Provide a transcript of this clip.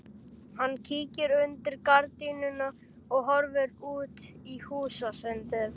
Hann kíkir undir gardínuna og horfir út í húsasundið.